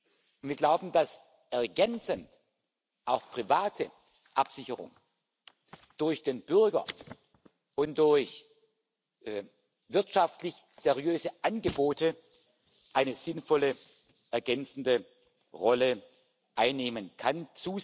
Und wir glauben, dass ergänzend auch private Absicherung durch den Bürger und durch wirtschaftlich seriöse Angebote eine sinnvolle ergänzende Rolle einnehmen kann.